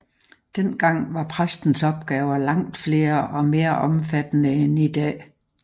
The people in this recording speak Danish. Den gang var præstens opgaver langt flere og mere omfattende end i dag